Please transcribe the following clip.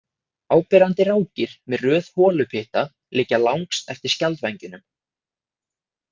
Áberandi rákir með röð holupytta liggja langs eftir skjaldvængjunum.